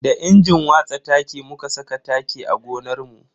Da injin watsa taki muka saka taki a gonarmu.